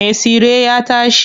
Me tsire ya tashi.